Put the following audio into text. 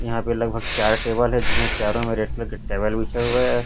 यहा पे लगभग चार टेबल है जिसमे चारो मे के टेबल बिछे हुए है।